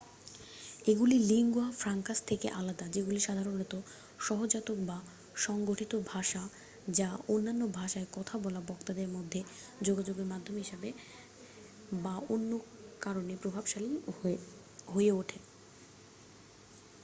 এগুলি lingua francas থেকে আলাদা যেগুলি সাধারণত সহজাতক বা সংগঠিত ভাষা যা অন্যান্য ভাষায় কথা বলা বক্তাদের মধ্যে যোগাযোগের মাধ্যম হিসাবে বা অন্য কোন কারণে প্রভাবশালী হয়ে ওঠে